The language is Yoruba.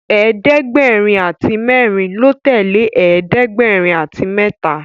ẹ̀ẹ́dẹ̀gbẹ̀rin àti mérin ló tèlé ẹ̀ẹ́dẹ̀gbẹ̀rin àti méta.